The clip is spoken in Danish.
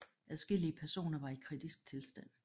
Adskillige personer var i kritisk tilstand